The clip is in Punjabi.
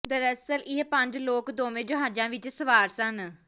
ਦਰਅਸਲ ਇਹ ਪੰਜ ਲੋਕ ਦੋਵੇਂ ਜਹਾਜ਼ਾਂ ਵਿਚ ਸਵਾਰ ਸਨ